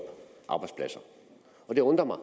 arbejdspladser og det undrer mig